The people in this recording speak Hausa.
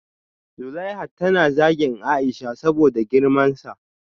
Zuleihat tana zagin Aisha saboda girmansa